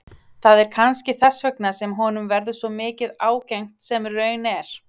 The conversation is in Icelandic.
Það er kannski þess vegna sem honum verður svo mikið ágengt sem raun er.